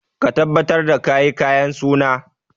Ka tabbatar da ka yi kayan suna!